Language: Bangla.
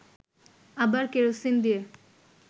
আবার কেরোসিন দিয়ে